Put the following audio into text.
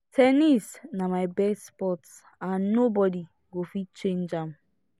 ten nis na my best sport and nobody go fit change am